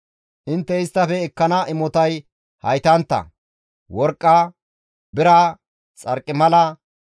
Intte isttafe ekkana imotay haytantta; worqqa, bira, xarqimala,